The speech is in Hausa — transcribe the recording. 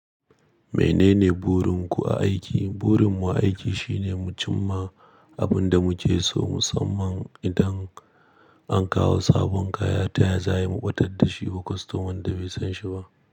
Menene burinku a aiki? Burin mu aiki shine mu cimma abin da mu ke so, musamman idan an kawo sabon kaya, taya za mu ɓatar da shi wa kostoman da bai san shi ba.